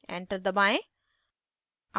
enter दबाएं